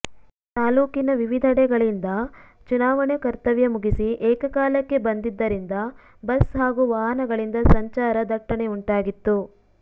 ತಾಲೂಕಿನ ವಿವಿಧೆಡೆಗಳಿಂದ ಚುನಾವಣೆ ಕರ್ತವ್ಯ ಮುಗಿಸಿ ಏಕಕಾಲಕ್ಕೆ ಬಂದಿದ್ದರಿಂದ ಬಸ್ ಹಾಗೂ ವಾಹನಗಳಿಂದ ಸಂಚಾರ ದಟ್ಟಣೆಯುಂಟಾಗಿತ್ತು